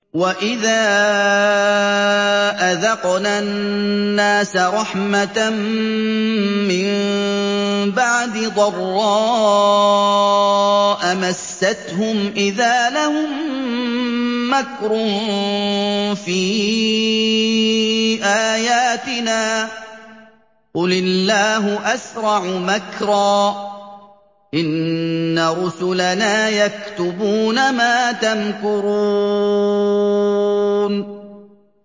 وَإِذَا أَذَقْنَا النَّاسَ رَحْمَةً مِّن بَعْدِ ضَرَّاءَ مَسَّتْهُمْ إِذَا لَهُم مَّكْرٌ فِي آيَاتِنَا ۚ قُلِ اللَّهُ أَسْرَعُ مَكْرًا ۚ إِنَّ رُسُلَنَا يَكْتُبُونَ مَا تَمْكُرُونَ